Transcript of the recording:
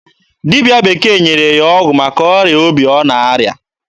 Dibịa bekee nyere ya ọgwụ maka ọrịa obi ọ na-arịa.